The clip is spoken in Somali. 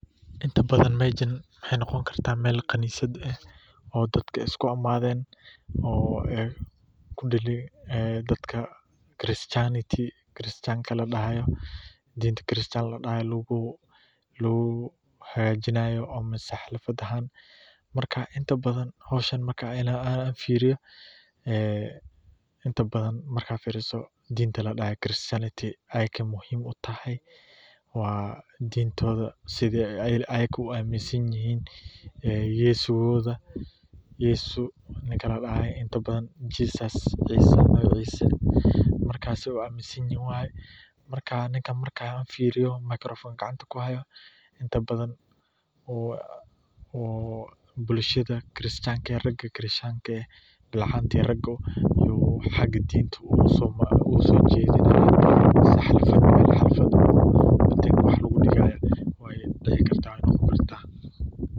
Inta badan meeshan waxeey noqon kartaa neel kanisad ah, mise xaflad ahaan, markaan fiiriyo, sida aay iyaga u amin san yihiin waye, ninka markaan fiiriyo bulshada bilcaanta iyo raga danka diinta usoo jedinaaya.